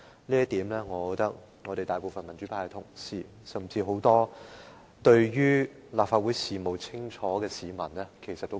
就此，我認為大部分民主派同事，甚至很多清楚認識立法會事務的市民，也會有同感。